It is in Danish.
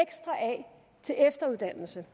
til efteruddannelse